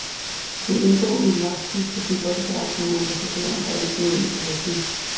Hun indgår i et vagtskifte som bodyguard for en ambassadør, der altid er under bevogtning.